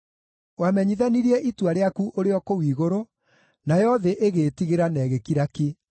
Wamenyithanirie itua rĩaku ũrĩ o kũu igũrũ, nayo thĩ ĩgĩĩtigĩra na ĩgĩkira ki,